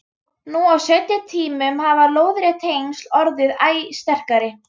Nú á seinni tímum hafa lóðrétt tengsl orðið æ sterkari.